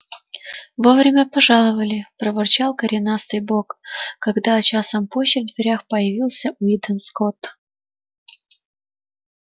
вовремя пожаловали проворчал коренастый бог когда часом позже в дверях появился уидон скотт